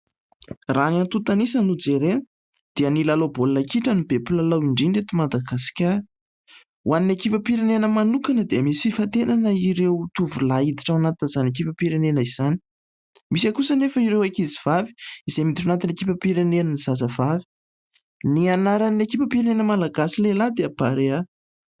Raha ny antontanisa no jerena dia ny lalao baolina kitra no be mpilalao indrindra eto Madagasikara. Ho an'ny ekipam-pirenena manokana, dia misy fifantenana ireo tovolahy hiditra ao anatin'izany ekipam-pirenena izany. Misy kosa anefa ireo ankizivavy, izay miditra ao anatin'ny ekipam-pirenen'ny zazavavy. Ny anaran'ny ekipam-pirenena malagasy lehilahy dia Barea.